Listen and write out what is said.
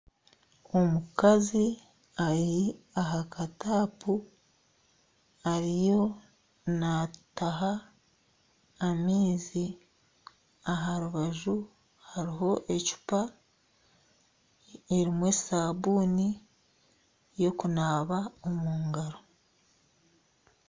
Omukazi ari aha ka tapu ariyo naataha amaizi aha rubaju hariho ecupa erimu esabuuni ey'okunaaba omu ngaro.